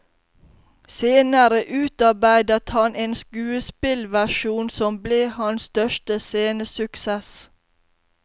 Senere utarbeidet han en skuespillversjon, som ble hans største scenesuksess.